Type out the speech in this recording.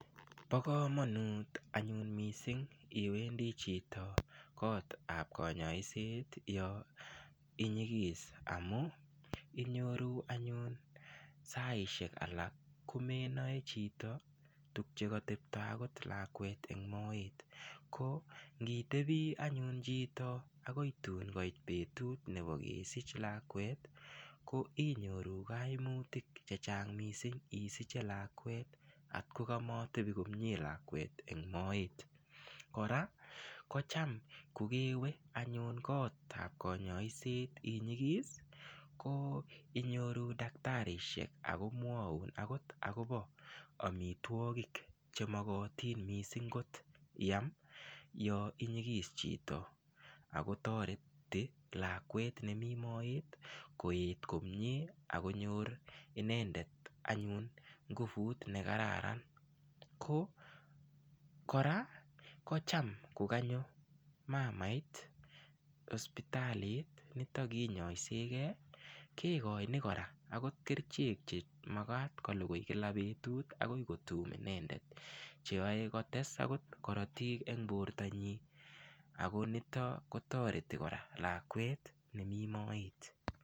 Bo kamanut anyun mising iwendi chito gotab kanyoiset yo inyigis amu, inyoru anyun saisiek alak komenoe chito tuk che katepto akot lakwet eng moet, ko ngitebi anyun chito akoi tun koit betut nebo kesich lakwet, ko inyoru kaimutik che chang mising isiche lakwet at kokamatebi komie lakwet eng moet, kora kocham ko kewe anyun gotab konyoiset inyigis, ko inyoru daktarisiek akomwoun akot akobo amitwogik che mokotin mising kot iam yo inyigis chito, akotoreti lakwet nemi moet koet komie ak konyor inendet anyun nguvut ne kararan, ko kora kocham ko kanyo mamait hospitalit nito kinyoiseeke kekoini kora akot kerichek che makat kolugui kila betut akoi kotum inendet, cheyoe kotes akot korotik eng bortanyi ako nito kotoreti kora lakwet nemi moet.